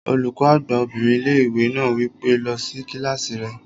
Olùkọ́ àgbà obìnrin ilé-ìwé náà wí pé, "lọ sí kílásì rẹ!"